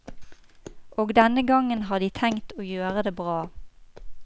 Og denne gangen har de tenkt å gjøre det bra.